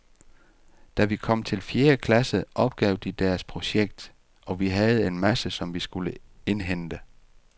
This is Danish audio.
Da vi kom til fjerde klasse opgav de deres projekt, og vi havde en masse, som vi skulle indhente.